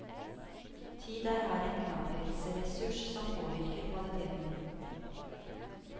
Tid er her en knapphetsressurs som påvirker kvaliteten.